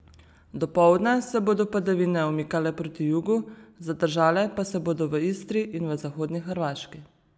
Dopoldne se bodo padavine umikale proti jugu, zadržale pa se bodo v Istri in v zahodni Hrvaški.